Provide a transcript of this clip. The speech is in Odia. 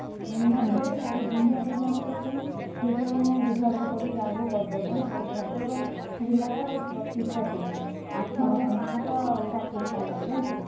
ମୂନା କୁ କହିବୁ ତାର ଦୁନିଆ ଚିହ୍ନା ପରିଚୟ ଅଛନ୍ତି ସିଏ ଟିକେ ମାନେ ବୁଝାବୁଝି କରିକି ଯାହାବି ହଉନା କରିଦବ କାଇଁନା ଭଦ୍ରକ ଜିଲ୍ଲା ର ବତିଶ ଟା seat ଆଠହଜାର ପାଂସ starting salary ଜାଣିଚୁ ନା?